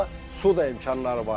Hətta su da imkanları var idi.